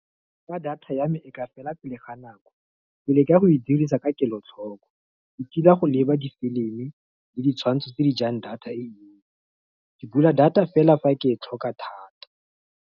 Fa data ya me e ka fela pele ga nako, pele ka go e dirisa ka kelotlhoko. Ke ka go leba difilimi le ditshwantsho tse di jang data, ke bula data fela fa ke e tlhoka.